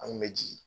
An kun bɛ jigin